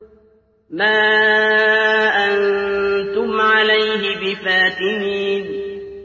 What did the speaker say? مَا أَنتُمْ عَلَيْهِ بِفَاتِنِينَ